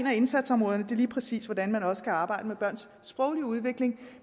af indsatsområderne lige præcis hvordan man også kan arbejde med børns sproglige udvikling